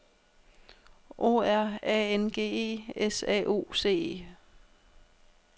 O R A N G E S A U C E